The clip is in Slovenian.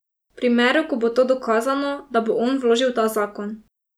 V primeru, ko bo to dokazano, da bo on vložil ta zakon.